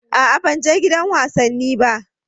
A'a ban je gidan wasanni ba.